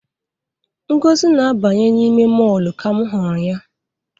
Ngozi na-abanye n'ime mọọlụ ka m hụrụ ya.